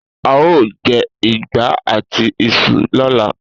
A óò je̩ ìgbá àti is̩u ló̩la